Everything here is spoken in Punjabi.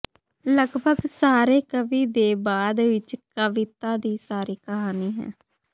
ਲਗਭਗ ਸਾਰੇ ਕਵੀ ਦੇ ਬਾਅਦ ਵਿੱਚ ਕਵਿਤਾ ਦੀ ਸਾਰੀ ਕਹਾਣੀ ਹੈ